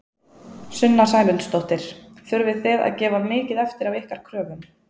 Sunna Sæmundsdóttir: Þurftu þið að gefa mikið eftir af ykkar kröfum?